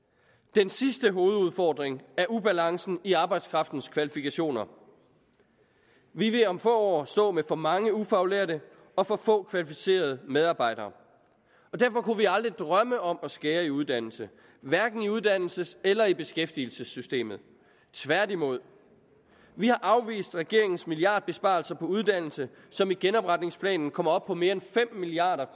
den sidste hovedudfordring er ubalancen i arbejdskraftens kvalifikationer vi vil om få år stå med for mange ufaglærte og for få kvalificerede medarbejdere og derfor kunne vi aldrig drømme om at skære i uddannelse hverken i uddannelses eller i beskæftigelsessystemet tværtimod vi har afvist regeringens milliardbesparelser på uddannelse som i genopretningsplanen kommer op på mere end fem milliard